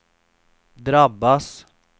drabbas